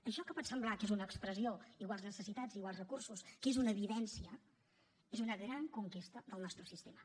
això que pot semblar que és una expressió iguals necessitats iguals recursos que és una evidència és una gran conquesta del nostre sistema